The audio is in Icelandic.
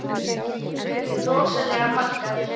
Þórhildur: Rosalega margar?